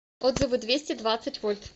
отзывы двести двадцать вольт